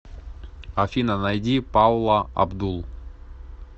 афина найди паула абдул